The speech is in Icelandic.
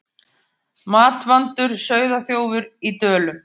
Matvandur sauðaþjófur í Dölum